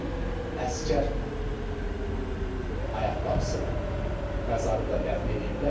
Onun əsgər ayaqqabısını məzarında dəfn eləyiblər.